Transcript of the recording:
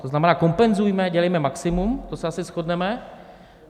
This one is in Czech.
To znamená, kompenzujme, dělejme maximum, to se asi shodneme.